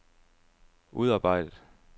udarbejdet